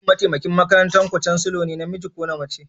Shin mataimakin makarantar ku Chancellor namiji ne ko mace?